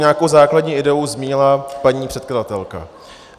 Nějakou základní ideu zmínila paní předkladatelka.